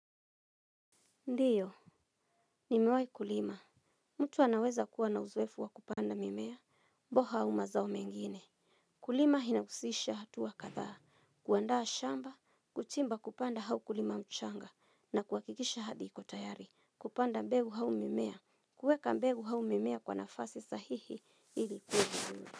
Ndio nimewahi kulima. Mtu anaweza kuwa na uzoefu wa kupanda mimea, mboga au mazao mengine. Kulima inahusisha hatua kadha. Kuandaa shamba, kuchimba kupanda au kulima mchanga, na kuhakikisha ardhi iko tayari. Kupanda mbegu au mimea. Kuweka mbegu au mimea kwa nafasi sahihi ili kuhu.